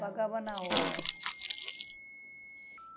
Pagava na hora.